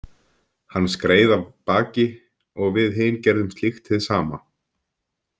Hann skreið af baki og við hin gerðum slíkt hið sama.